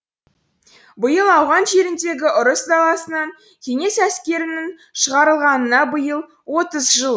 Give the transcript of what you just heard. биыл ауған жеріндегі ұрыс даласынан кеңес әскерінің шығарылғанына биыл отыз жыл